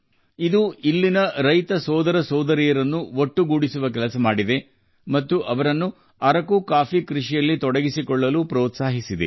ಇದು ಇಲ್ಲಿನ ರೈತ ಬಂಧುಗಳನ್ನು ಒಗ್ಗೂಡಿಸಿ ಅರಕು ಕಾಫಿ ಬೆಳೆಯಲು ಪ್ರೇರೇಪಿಸಿತು